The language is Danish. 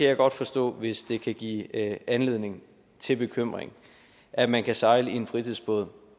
jeg godt forstå hvis det kan give anledning til bekymring at man kan sejle en fritidsbåd